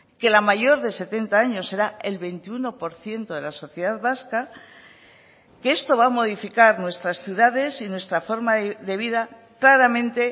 que la mayor de setenta años será el veintiuno por ciento de la sociedad vasca que esto va a modificar nuestras ciudades y nuestra forma de vida claramente